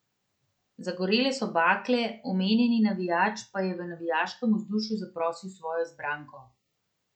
Zagorele so bakle, omenjeni navijač pa je v navijaškem vzdušju zaprosil svojo izbranko.